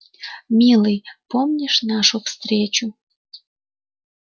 милый помнишь нашу встречу